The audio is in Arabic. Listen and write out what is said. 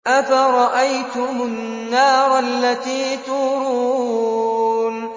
أَفَرَأَيْتُمُ النَّارَ الَّتِي تُورُونَ